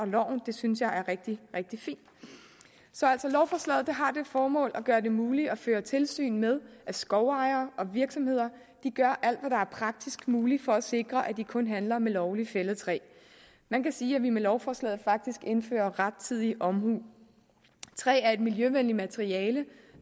loven det synes jeg er rigtig rigtig fint lovforslaget har altså det formål at gøre det muligt at føre tilsyn med at skovejere og virksomheder gør alt hvad der er praktisk muligt for at sikre at de kun handler med lovligt fældet træ man kan sige at vi med lovforslaget faktisk indfører rettidig omhu træ er et miljøvenligt materiale